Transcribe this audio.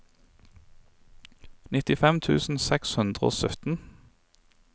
nittifem tusen seks hundre og sytten